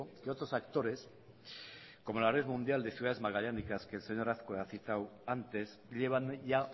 que otros actores como la red mundial de ciudades magallánicas que el señor azkue ha citado antes llevan ya